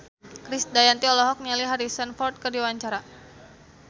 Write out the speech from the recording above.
Krisdayanti olohok ningali Harrison Ford keur diwawancara